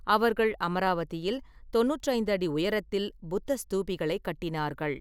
அவர்கள் அமராவதியில் தொண்ணூற்றைந்து அடி உயரத்தில் புத்த ஸ்தூபிகளைக் கட்டினார்கள்.